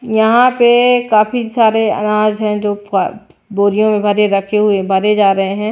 यहां पे काफी सारे अनाज हैं जो बोरियों में भरे रखे हुए भरे जा रहे हैं।